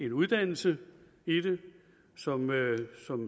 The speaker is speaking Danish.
uddannelse i det som